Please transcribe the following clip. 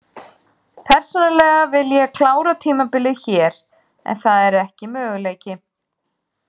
Persónulega vil ég klára tímabilið hér en það er ekki möguleiki.